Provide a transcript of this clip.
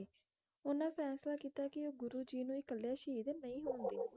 ਓਹਨਾ ਨੇ ਫੈਸਲਾ ਕੀਤਾ ਕੇ ਉਹ ਗੁਰੂ ਜੀ ਨੂੰ ਇੱਕਲਾ ਸ਼ਹੀਦ ਨਹੀਂ ਦੇਣਗੇ